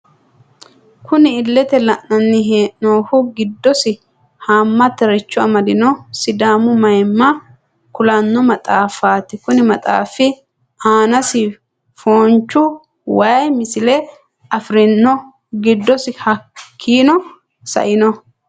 Kunni illete leelani noohu gidosi haamataricho amadino sidàamu mayiimma kulano maxaafati kunni maxaafi aanasi foonchu wayii misile afirino giddosi hakiino sa'ano .